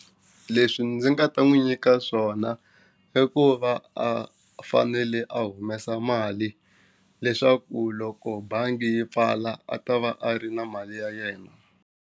Leswi ndzi nga ta n'wi nyika swona i ku va a fanele a humesa mali leswaku loko bangi yi pfala a ta va a ri na mali ya yena.